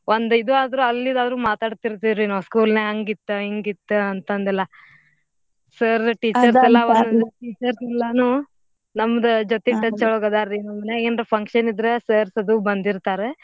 ಒಂದ್ ಈದಾದ್ರು ಅಲ್ಲಿದಾದ್ರು ಮಾತಾಡ್ತಿರ್ತೇವ್ರಿ ನಾವ್ school ನ್ಯಾಗ್ ಹಂಗಿತ್ತು ಹಿಂಗಿತ್ತು ಅಂತಂದೆಲ್ಲ. Sir, teachers teachers ಎಲ್ಲಾನೂ ನಮ್ದ ಜೊತೀಗ್ touch ಒಳಾಗದಾರ್ರೀ ನಮ್ಮನ್ಯಾಗ್ ಏನರ function ಇದ್ರ sirs ಅದು ಬಂದಿರ್ತಾರ.